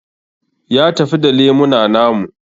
Ya tafi da lemuna namu